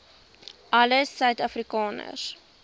alle suid afrikaners